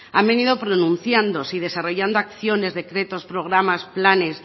han venido pronunciándose y desarrollando acciones decretos programas planes